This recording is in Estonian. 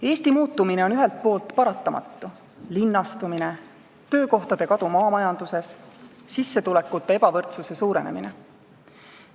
Eesti muutumine on ühelt poolt paratamatu: linnastumine, töökohtade kadu maamajanduses, sissetulekute ebavõrdsuse suurenemine.